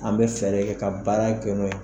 An mɛ fɛ de ka baara kɛ n'o ye.